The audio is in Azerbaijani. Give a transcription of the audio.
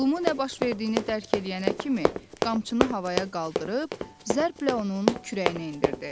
Lulu nə baş verdiyini dərk eləyənə kimi qamçını havaya qaldırıb zərblə onun kürəyinə endirdi.